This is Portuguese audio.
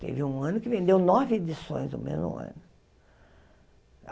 Teve um ano que vendeu nove edições no mesmo ano.